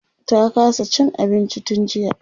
ta kasa Cin abinci tun jiya